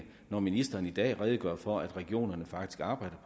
når ministeren i dag redegør for at regionerne faktisk arbejder